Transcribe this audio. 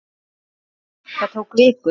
Það tók viku.